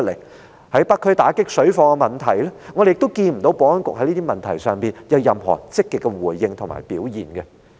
又例如在北區打擊水貨的問題上，我們亦看不到保安局在這些問題有任何積極的回應和表現。